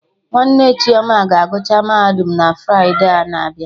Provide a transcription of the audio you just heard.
Nwanne Chioma ga agụcha Mahadum na Fride a na-abịa